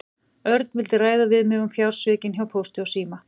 Örn vildi ræða við mig um fjársvikin hjá Pósti og síma.